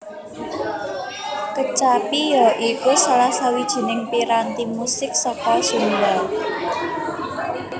Kecapi ya iku salah sawijining piranti musik saka Sunda